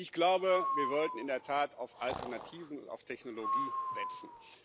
Ich glaube, wir sollten in der Tat auf Alternativen und auf Technologie setzen.